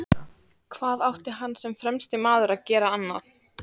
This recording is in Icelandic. Hvað átti hann sem fremsti maður að gera annað?